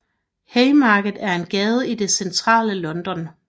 Haymarket er en gade i det centrale London